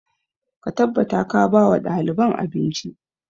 Ka tabbata ka ba wa ɗaliban abinci!